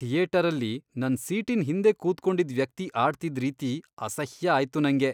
ಥಿಯೇಟರಲ್ಲಿ ನನ್ ಸೀಟಿನ್ ಹಿಂದೆ ಕೂತ್ಕೊಂಡಿದ್ ವ್ಯಕ್ತಿ ಆಡ್ತಿದ್ ರೀತಿ ಅಸಹ್ಯ ಆಯ್ತು ನಂಗೆ.